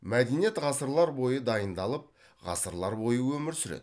мәдениет ғасырлар бойы дайындалып ғасырлар бойы өмір сүреді